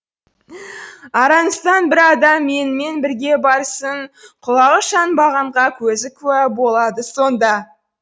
араңыздан бір адам менімен бірге барсын құлағы шанбағанға көзі куә болады сонда